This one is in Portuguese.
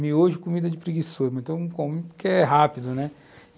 Miojo é comida de preguiçoso, mas todo mundo come como porque é rápido, né?